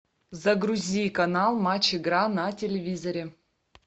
загрузи канал матч игра на телевизоре